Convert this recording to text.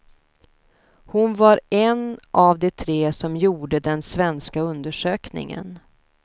Hon var en av de tre som gjorde den svenska undersökningen.